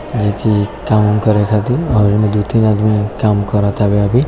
देखिये काम उम् रखा और दो तीन आदमी काम कराता अभी--